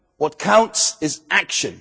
value. What counts is